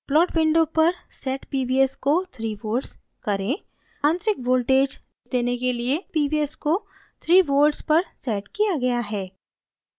plot window पर set pvs को 3 volts करें आंतरिक voltage देने के लिए pvs को 3 volts पर set किया गया है